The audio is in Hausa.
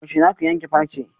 Yaushe zaku yanke farce?